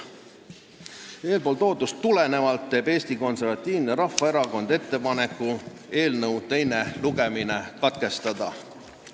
Eeltoodust tulenevalt teeb Eesti Konservatiivne Rahvaerakond ettepaneku eelnõu teine lugemine katkestada.